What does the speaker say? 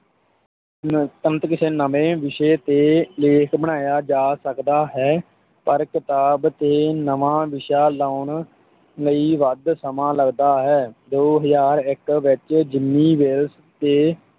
ਅਹ ਤੁਰੰਤ ਕਿਸੇ ਨਵੇਂ ਵਿਸ਼ੇ ਤੇ ਲੇਖ ਬਣਾਇਆ ਜਾ ਸਕਦਾ ਹੈ ਪਰ ਕਿਤਾਬ ਤੇ ਨਵਾਂ ਵਿਸ਼ਾ ਲਾਉਣ ਲਈ ਵੱਧ ਸਮਾਂ ਲਗਦਾ ਹੈ, ਦੋ ਹਜ਼ਾਰ ਇੱਕ ਵਿੱਚ ਜਿੰਮੀ ਵੇਲਸ ਤੇ